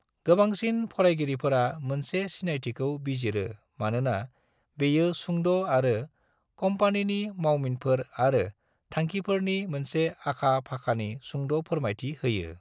गोबांसिन फरायगिरिफोरा मोनसे सिनायथिखौ बिजिरो मानोना बेयो सुंद' आरो कंपनीनि मावमिनफोर आरो थांखिफोरनि मोनसे आखा-फाखानि सुंद’ फोरमायथि होयो।